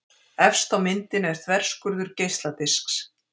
Efst á myndinni er þverskurður geisladisks.